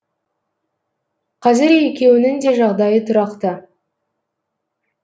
қазір екеуінің де жағдайы тұрақты